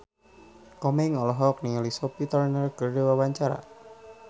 Komeng olohok ningali Sophie Turner keur diwawancara